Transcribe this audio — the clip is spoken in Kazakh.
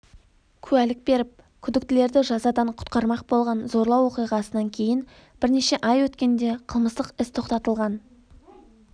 куәлік беріп күдіктілерді жазадан құтқармақ болған зорлау оқиғасынан кейін бірнеше ай өткенде қылмыстық іс тоқтатылған